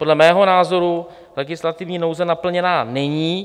Podle mého názoru legislativní nouze naplněna není.